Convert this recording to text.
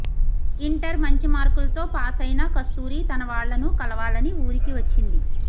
inter మంచి మార్కులతో pass అయిన కస్తూరి తన వాళ్ళను కలవాలని ఊరికి వచ్చింది